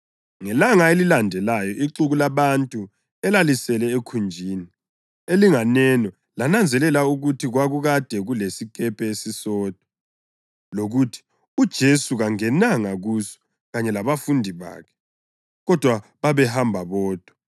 Ngelanga elilandelayo ixuku labantu elalisele ekhunjini elinganeno lananzelela ukuthi kwakukade kulesikepe esisodwa, lokuthi uJesu kangenanga kuso kanye labafundi bakhe, kodwa babehambe bodwa.